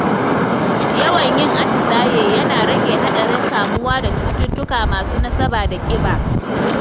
Yawan yin atisaye yana rage haɗarin kamuwa da cututtuka masu nasaba da ƙiba.